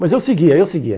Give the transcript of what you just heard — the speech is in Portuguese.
Mas eu seguia, eu seguia.